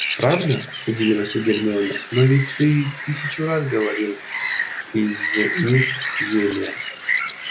правда удивилась гермиона но ведь ты тысячу раз говорил из них зелья